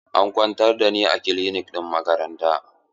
An kwantar da ni a kilinik ɗin makaranta.